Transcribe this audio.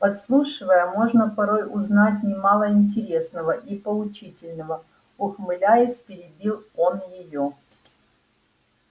подслушивая можно порой узнать немало интересного и поучительного ухмыляясь перебил он её